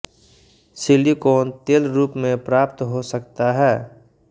silicon तेल रूप में प्राप्त हो सकता है